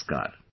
Namaskar